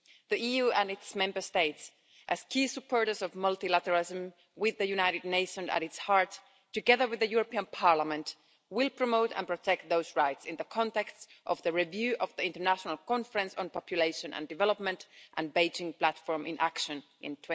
The EU and its Member States, as key supporters of multilateralism with the United Nations at its heart, together with the European Parliament, will promote and protect those rights in the context of the review of the International Conference on Population and Development and the Beijing Platform in Action in